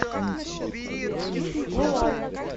луань